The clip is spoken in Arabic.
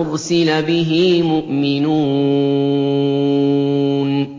أُرْسِلَ بِهِ مُؤْمِنُونَ